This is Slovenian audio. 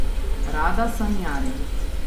Rada sanjari.